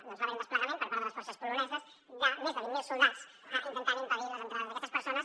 doncs va haver hi un desplegament per part de les forces poloneses de més de vint mil soldats intentant impedir les entrades d’aquestes persones